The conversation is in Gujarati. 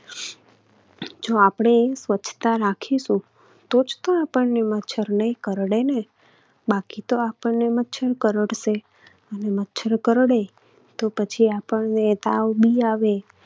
જો આપણે સ્વચ્છતા રાખીશું તો જ તો આપણને મચ્છર નહિ કરડે ને. બાકી તો આપણને મચ્છર કરડશે અને મચ્છર કરડે તો પછી આપણને તાવ પણ આવે.